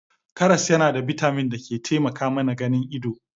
Karas yana da bitamin da ke taimaka mana ganin ido.